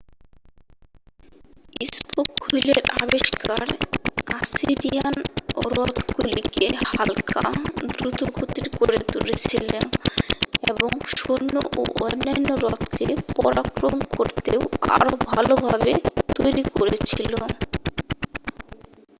spoke হুইলের আবিষ্কার Assyrian রথগুলিকে হাল্কা দ্রুতগতির করে তুলেছিল এবং সৈন্য ও অন্যান্য রথকে পরাক্রম করতে আরও ভালভাবে তৈরী করেছিল